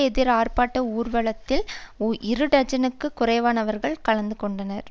எதிர் ஆர்ப்பாட்ட ஊர்வலத்தில் இரு டஜனுக்கும் குறைவானவர்கள் கலந்து கொண்டனர்